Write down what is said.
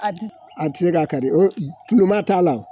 A ti a ti se ka kari tuba t'a la wo